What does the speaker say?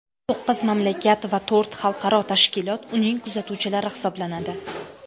To‘qqiz mamlakat va to‘rt xalqaro tashkilot uning kuzatuvchilari hisoblanadi.